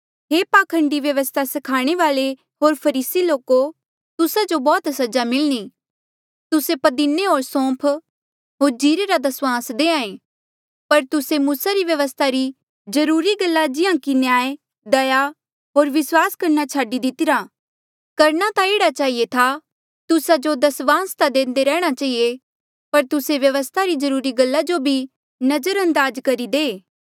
हे पाखंडी व्यवस्था स्खाणे वाल्ऐ होर फरीसी लोको तुस्सा जो बौह्त सजा मिलणी तुस्से पदीने होर सूम्फ होर जीरे रा दस्वांस देहां ऐें पर तुस्से मूसा री व्यवस्था री जरूरी गल्ला जिहां कि न्याय दया होर विस्वास छाडी दितिरा करणा ता एह्ड़ा चहिए था तुस्सा जो दस्वांस ता देंदे रेहणा चहिए पर तुस्से व्यवस्था री जरूरी गल्ला जो भी नजरअंदाज करी दे